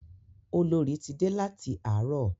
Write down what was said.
Olorì ti dé láti àárọ̀.